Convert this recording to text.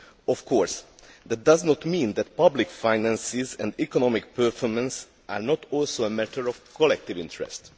Of course, that does not mean that public finances and economic performance are not also a matter of collective interest.